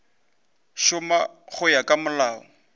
šoma go ya ka molao